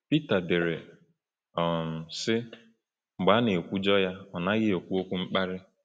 Pita dere, um sị: “Mgbe a na-ekwujọ ya, ọ naghị ekwu okwu mkparị.